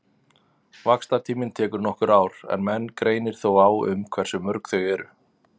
Vaxtartíminn tekur nokkur ár en menn greinir þó á um hversu mörg þau eru.